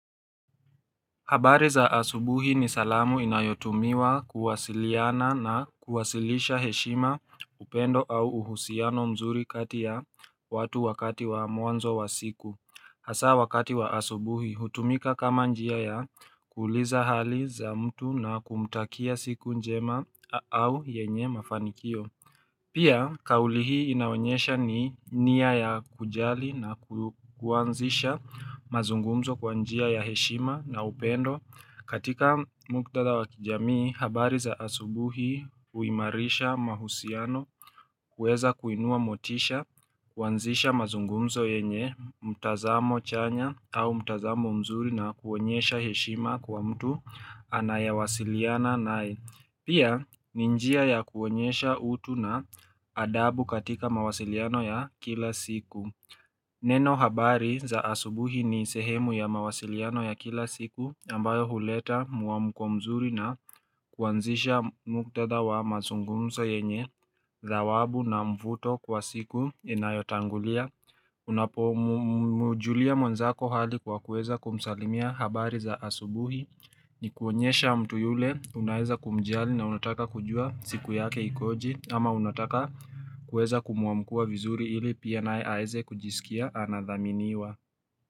Habari za asubuhi ni salamu inayotumiwa kuwasiliana na kuwasilisha heshima upendo au uhusiano mzuri kati ya watu wakati wa mwanzo wa siku. Hasa wakati wa asubuhi hutumika kama njia ya kuuliza hali za mtu na kumtakia siku njema au yenye mafanikio. Pia, kauli hii inaonyesha ni nia ya kujali na kuanzisha mazungumzo kwa njia ya heshima na upendo tatika mkutada wakijamii, habari za asubuhi huimarisha mahusiano. Kuweza kuinua motisha, kuanzisha mazungumzo yenye, mtazamo chanya au mtazamo mzuri na kuonyesha heshima kwa mtu anayawasiliana nae Pia ni njia ya kuonyesha utu na adabu katika mawasiliano ya kila siku. Neno habari za asubuhi ni sehemu ya mawasiliano ya kila siku ambayo huleta muamuko mzuri na kuanzisha muktadha wa mazungumso yenye zawabu na mvuto kwa siku inayotangulia. Unapomujulia mwanzako hali kwa kuweza kumsalimia habari za asubuhi. Ni kuonyesha mtu yule unaweza kumjiali na unataka kujua siku yake ikoje. Ama unataka kuweza kumuamkia vizuri ili pia nae aweze kujisikia anadhaminiwa.